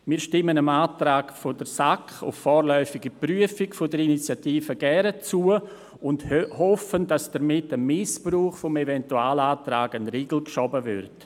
Wir stimmen dem Antrag der SAK auf vorläufige Prüfung der Initiative gerne zu und hoffen, dass damit dem Missbrauch des Eventualantrags ein Riegel vorgeschoben wird.